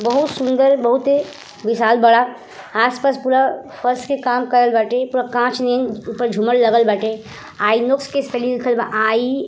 बहुत सुंदर बहुते विशाल बडा। आस-पास पूरा फर्श के काम करल बाटे। पूरा कांच नियन ऊपर झूमर लगल बाटे। आइनॉक्स के स्पेलिंग लिखल बा आई --